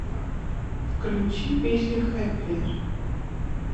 включи песню хэппиер